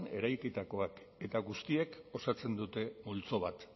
eraikitakoak eta guztiek osatzen dute multzo bat